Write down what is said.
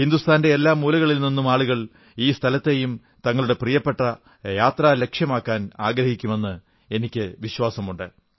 ഹിന്ദുസ്ഥാന്റെ എല്ലാ മൂലകളിൽ നിന്നും ആളുകൾ ഈ സ്ഥലത്തെയും തങ്ങളുടെ പ്രിയപ്പെട്ട യാത്രാ ലക്ഷ്യമാക്കാനാഗ്രഹിക്കുമെന്ന് എനിക്കു വിശ്വാസമുണ്ട്